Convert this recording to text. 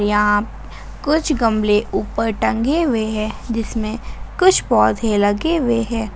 यहां कुछ गमले ऊपर टंगे हुए हैं जिसमें कुछ पौधे लगे हुए हैं।